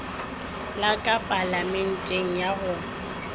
la ka palamenteng ya go